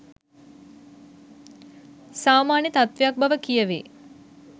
සාමාන්‍ය තත්වයක් බව කියවේ